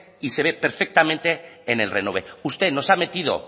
y se ve perfectamente en el renove usted nos ha metido